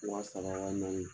Waa saaba waa naani